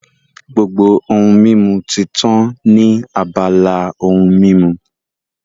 Gbogbo ohun mímu ti tán ní abala ohun mímu